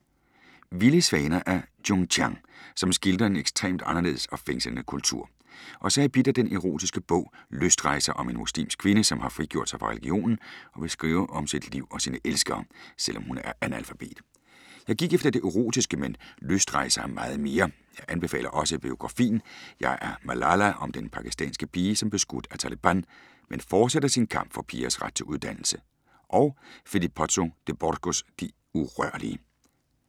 Vilde svaner af Jung Chang, som skildrer en ekstrem anderledes og fængslende kultur. Og så er jeg bidt af den erotiske bog Lystrejser om en muslimsk kvinde, som har frigjort sig fra religionen og vil skrive om sit liv og sine elskere, selv om hun er analfabet. Jeg gik efter det erotiske, men Lystrejser er meget mere. Jeg anbefaler også biografien Jeg er Malala om den pakistanske pige, som blev skudt af Taleban, men fortsætter sin kamp for pigers ret til uddannelse. Og Philippe Pozzo di Borgos De urørlige.